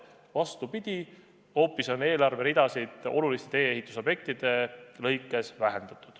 Vastupidi, eelarveridasid on oluliste tee-ehitusobjektide lõikes hoopis vähendatud.